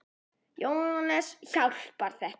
Jóhannes: Hjálpar þetta?